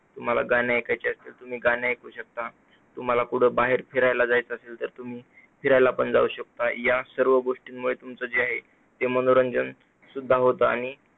तुम्हाला गाणी ऐकायची असतील तर तुम्ही गाणी ऐकू शकता. तुम्हाला बाहेर कुठे फिरायला जायचं असेल तर फिरायला पण जाऊ शकता. या सर्व गोष्टींमुळे तुमचं जे पण काही आहे, मनोरंजन सुद्धा होत आणि